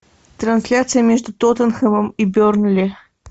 трансляция между тоттенхэмом и бернли